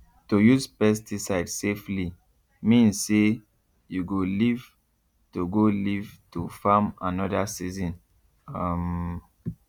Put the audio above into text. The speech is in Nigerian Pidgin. to use pesticide safely mean say you go live to go live to farm another season um